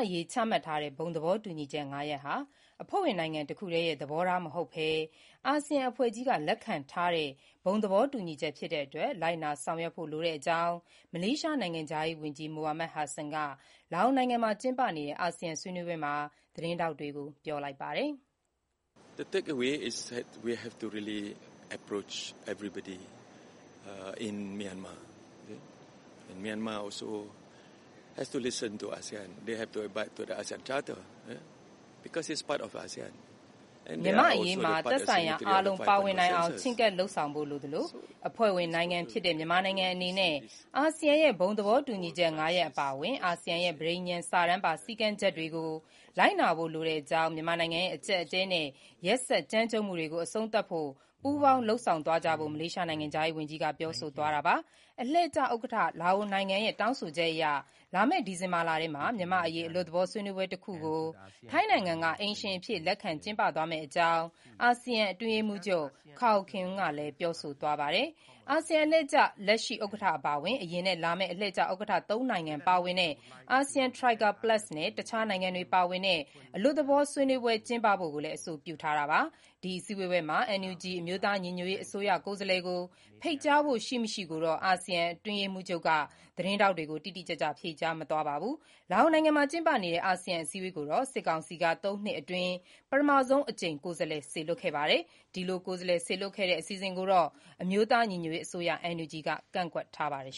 အရေး ချမှတ်ထားတဲ့ ဘုံသဘောတူညီချက် ၅ ရပ်ဟာ အဖွဲ့ဝင်နိုင်ငံတခုတည်းရဲ့ သဘောထား မဟုတ်ဘဲ အာဆီယံအဖွဲ့ကြီးက လက်ခံထားတဲ့ ဘုံသဘောညီချက် ဖြစ်တဲ့အတွက် လိုက်နာ ဆောင်ရွက်ဖို့ လိုတဲ့အကြောင်း မလေးရှားနိုင်ငံခြားရေးဝန်ကြီး Mohamad Hasan က လာအိုနိုင်ငံမှာကျင်းပနေတဲ့ အာဆီယံဆွေးနွေးပွဲမှာ သတင်းထောက်တွေကို ပြောလိုက်ပါတယ်။ မြန်မာ့အရေးမှာ သက်ဆိုင်ရာ အားလုံးပါဝင်နိုင်အောင် ချဉ်းကပ်လုပ်ဆောင်ဖို့လိုသလို၊ အဖွဲ့ဝင်နိုင်ငံဖြစ်တဲ့ မြန်မာနိုင်ငံအနေနဲ့ အာဆီယံရဲ့ ဘုံသဘောတူညီချက် ၅ ရပ်အပါအဝင်၊ အာဆီယံရဲ့ ပဋိညာဉ်စာတမ်းပါ စည်းကမ်း ချက်တွေကို လိုက်နာဖို့လိုတဲ့အကြောင်းနဲ့ မြန်မာနိုင်ငံရဲ့ အကျပ်အတည်းနဲ့ ရက်စက်ကြမ်းကြုတ်မှုတွေကို အဆုံးသတ်ဖို့ ပူးပေါင်းလုပ်ဆောင်သွားကြဖို့ မလေးရှားနိုင်ငံခြားရေးဝန်ကြီး Mohamad Hasan က ပြောဆို သွားတာပါ။ အလှည့်ကျ ဥက္ကဋ္ဌ လာအိုနိုင်ငံရဲ့ တောင်းဆိုချက်အရ လာမယ့်ဒီဇင်ဘာလထဲမှာ မြန်မာ့အရေး အလွတ်သဘောဆွေးနွေးပွဲတခုကို ထိုင်းနိုင်ငံက အိမ်ရှင်အဖြစ် လက်ခံကျင်းပသွားမယ့်အကြောင်း အာဆီယံ အတွင်းရေးမှူးချုပ် Kao Kim Hourn ကလည်း ပြောဆိုသွားပါတယ်။ ASEAN Troika Plus ခေါ် အာဆီယံ အလှည့်ကျ လက်ရှိ ဥက္ကဋ္ဌအပါအဝင် အရင်နဲ့ လာမယ့် အလှည့်ကျ ဥက္ကဋ္ဌ သုံးနိုင်ငံ နဲ့ တခြားနိုင်ငံတွေ အလွတ်သဘော ဆွေးနွေးပွဲကျင်းပဖို့ အဆိုပြုထားတာပါ။ ဒီအစည်းအဝေးမှာ NUG အမျိုးသားညီညွတ်ရေး အစိုးရ ကိုယ်စားလှယ်ကို ဖိတ်ကြားဖို့ ရှိမရှိကိုတော့ အာဆီယံ အတွင်းရေးမှူးချုပ် Kao Kim Hourn က သတင်းထောက်တွေကို တိတိကျကျ ဖြေကြားမသွားပါဘူး။ လာအိုနိုင်ငံ Vientiane မှာ ကျင်းပနေတဲ့ အာဆီယံ အစည်းအဝေးကိုတော့ စစ်ကောင်စီက ၃ နှစ်အတွင်း ပထမဆုံးအကြိမ် ကိုယ်စားလှယ် စေလွှတ်ခဲ့တာပါ။ အာဆီယံအစည်းအဝေးမှာ စစ်ကောင်စီက ကိုယ်စားလှယ် တက်ရောက်မယ့် အစီအစဉ်ကိုတော့ အမျိုးသား ညီညွတ်ရေးအစိုးရ NUG က ကန့်ကွက်ထားပါတယ်